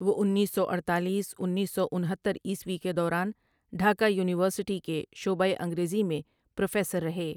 وہ انیس سو اڈتالیس انیسسو انہتر عیسوی کے دوران ڈھاکہ یونیورسٹی کے شعبہ انگریزی میں پروفیسر رہے ۔